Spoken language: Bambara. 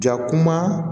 Jakuma